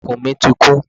Ikùn mi ti kún.